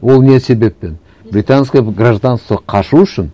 ол не себеппен британское гражданство қашу үшін